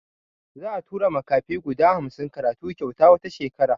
Za'a tura makafi guda hamsin karatu kyauta wata shekara.